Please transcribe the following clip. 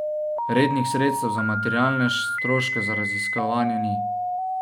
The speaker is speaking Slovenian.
Rednih sredstev za materialne stroške za raziskovanje ni.